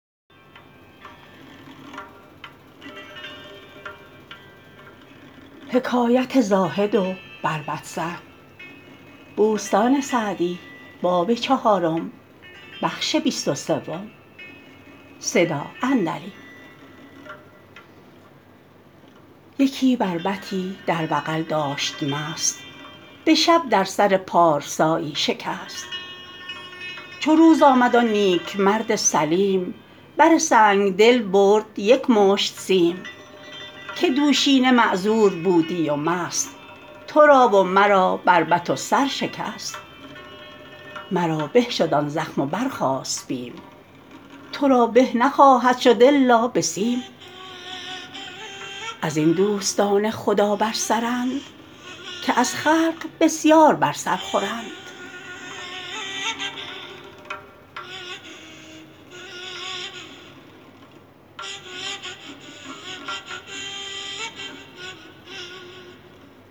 یکی بربطی در بغل داشت مست به شب در سر پارسایی شکست چو روز آمد آن نیک مرد سلیم بر سنگدل برد یک مشت سیم که دوشینه معذور بودی و مست تو را و مرا بربط و سر شکست مرا به شد آن زخم و برخاست بیم تو را به نخواهد شد الا به سیم از این دوستان خدا بر سرند که از خلق بسیار بر سر خورند